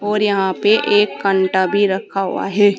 और यहां पे एक कांटा भी रखा हुआ है।